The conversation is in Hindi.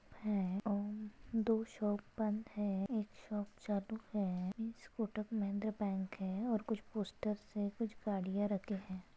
हे और दो शॉप बंद है एक शॉप चालू है ईस कोटक महिंद्रा बैंक है और कुछ पोस्टर्स है कुछ गाड़िया रखे है।